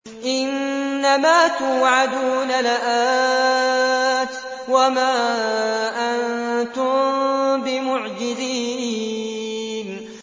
إِنَّ مَا تُوعَدُونَ لَآتٍ ۖ وَمَا أَنتُم بِمُعْجِزِينَ